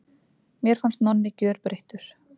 Mér fannst Nonni gjörbreyttur.